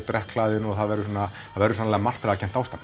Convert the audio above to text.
drekkhlaðin og það verður svona verður svona martraðarkennt ástand